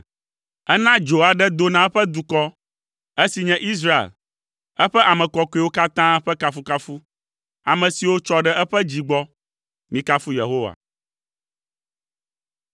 Ena dzo aɖe do na eƒe dukɔ, esi nye Israel, eƒe ame kɔkɔewo katã ƒe kafukafu, ame siwo tsɔ ɖe eƒe dzi gbɔ. Mikafu Yehowa.